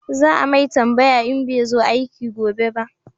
Za a mai tambaya in bai zo aiki gobe ba